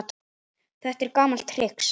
Þetta er gamalt trix.